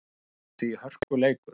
Það verður því hörkuleikur.